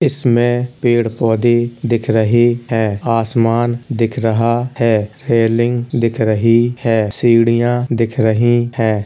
इसमें पेड़ पौधे दिख रहें हैं। आसमान दिख रहा हैं। रेलिंग दिख रही हैं सीढ़ियां दिख रही हैं।